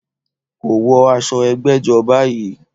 Kò wọ aṣọ ẹgbẹ́jọ́ báyìí